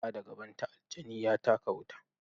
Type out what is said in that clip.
Gaba da gabanta, aljani ya taka wuta.